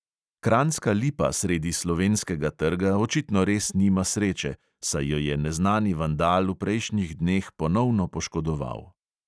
Kranjska lipa sredi slovenskega trga očitno res nima sreče, saj jo je neznani vandal v prejšnjih dneh ponovno poškodoval.